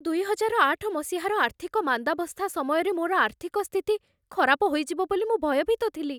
ଦୁଇହଜାରଆଠ ମସିହାର ଆର୍ଥିକ ମାନ୍ଦାବସ୍ଥା ସମୟରେ ମୋର ଆର୍ଥିକ ସ୍ଥିତି ଖରାପ ହୋଇଯିବ ବୋଲି ମୁଁ ଭୟଭୀତ ଥିଲି।